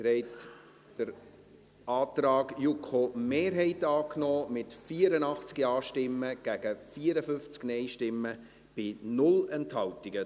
Sie haben den Antrag der JuKo-Mehrheit angenommen, mit 84 Ja- gegen 54 Nein-Stimmen bei 0 Enthaltungen.